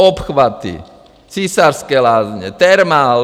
Obchvaty, Císařské Lázně, Thermal.